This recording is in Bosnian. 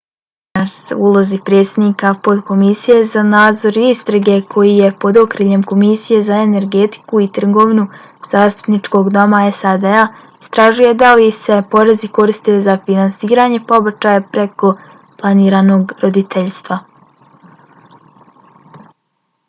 stearns u ulozi predsjednika potkomisije za nadzor i istrage koji je pod okriljem komisije za energetiku i trgovinu zastupničkog doma sad-a istražuje da li se porezi koriste za finansiranje pobačaja preko planiranog roditeljstva